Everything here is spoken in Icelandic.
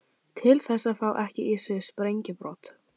Til þess að fá ekki í sig sprengjubrot.